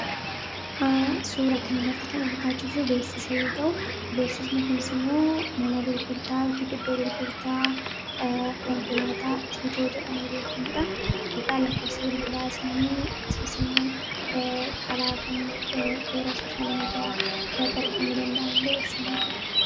suura kanalatti kana argaacirruu beeksisa yoo ta'u beeksas mikulsimoo mana gurgurtaa akiidoddoo gurgurtaa konkolaataa tiitoo jedhame beekamuudha dhigaa lakkobsi bilbilaa isaanii akkasusimoo karaakamiin toora soshyaal miidiyaa bidatti argamuu danda'an illee eebsaanii jiru